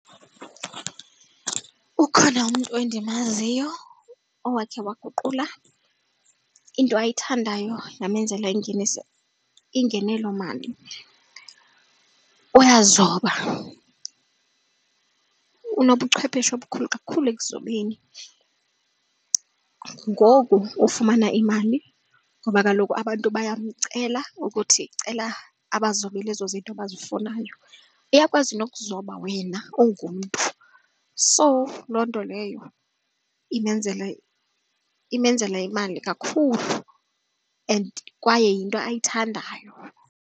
Ukhona umntu endimaziyo owakhe waguqula into ayithandayo yamenzela ingeniso ingenelo mali. Uyazoba, unobuchwephesha obukhulu kakhulu ekuzobeni. Ngoku ufumana imali ngoba kaloku abantu bayamcela ukuthi cela abazobele ezo zinto bazifunayo. Uyakwazi nokuzoba wena ungumntu. So loo nto leyo imenzela imali kakhulu and kwaye yinto ayithandayo.